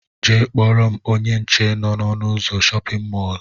Jee kpọrọ m ónyé nche nọ n'ọnu ụzọ shóppin mol!!!